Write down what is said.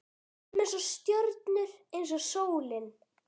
Við verðum eins og stjörnur, eins og sólin